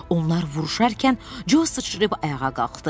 Onlar vuruşarkən, Co sıçrayıb ayağa qalxdı.